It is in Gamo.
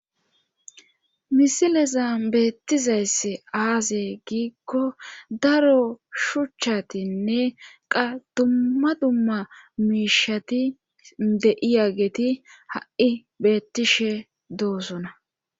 misileza beettizayss aaze giikko daro shuchchatinne qa dummma dumma miishati deiya geti ha7i beettishe doosona